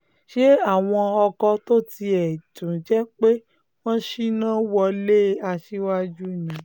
ṣe àwọn ọkọ tó tiẹ̀ tún jẹ́ pé wọ́n ṣínà wọlé aṣíwájú ni